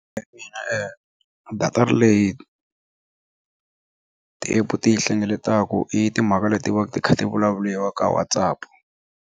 datara leyi ti-app ti yi hlengeletaku i timhaka leti va ka ti kha ti vulavuliwa ka WhatsApp.